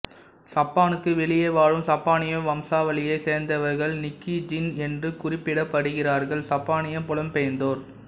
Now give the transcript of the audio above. சப்பானுக்கு வெளியே வாழும் சப்பானிய வம்சாவளியைச் சேர்ந்தவர்கள் நிக்கீஜின் என்று குறிப்பிடப்படுகிறார்கள் சப்பானிய புலம்பெயர்ந்தோர்